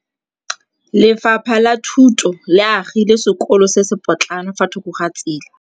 Lefapha la Thuto le agile sekôlô se se pôtlana fa thoko ga tsela.